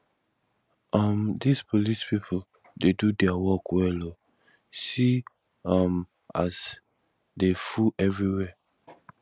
um dis police people dey do their work well oo see um as dey full everywhere